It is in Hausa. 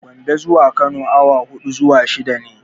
Gombe zuwa Kano awa huɗu zuwa shida ne.